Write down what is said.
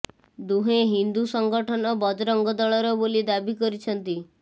ଦୁହେଁ ହିନ୍ଦୁ ସଙ୍ଗଠନ ବଜରଙ୍ଗ ଦଳର ବୋଲି ଦାବି କରିଛନ୍ତି